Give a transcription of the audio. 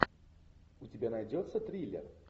у тебя найдется триллер